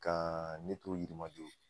Ka ne t'o yirimajo